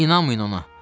İnanmayın ona!